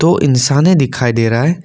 वो इंसाने दिखाई दे रहा है।